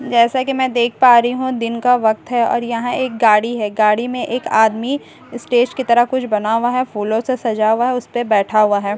जैसा की मैं देख पा रही हूं दिन का वक्त है और यहां एक गाड़ी है गाड़ी में एक आदमी स्टेज की तरह कुछ बना हुआ है फूलों से सजा हुआ है उस पे बैठा हुआ है।